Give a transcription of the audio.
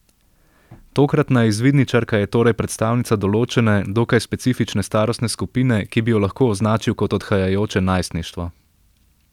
Tokratna izvidničarka je torej predstavnica določene, dokaj specifične starostne skupine, ki bi jo lahko označil kot odhajajoče najstništvo.